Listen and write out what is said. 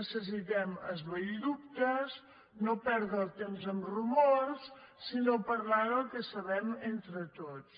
necessitem esvair dubtes no perdre el temps amb rumors sinó parlar del que sabem entre tots